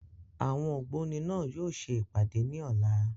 Àwọn ògbóni náà yóò ṣe ìpàdé ní ọ̀la.